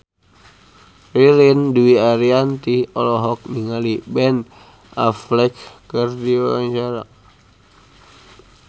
Ririn Dwi Ariyanti olohok ningali Ben Affleck keur diwawancara